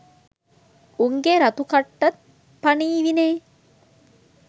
උන්ගේ රතු කට්ටත් පනීවිනේ.